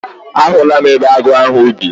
A hụla m ebe agụ ahụ bi.